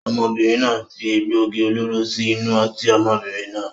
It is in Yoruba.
Ọmọbìnrin náà fi egbògi olóró síí inú ọtí ọmọbìnrin náà.